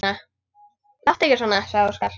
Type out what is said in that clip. Láttu ekki svona, sagði Óskar.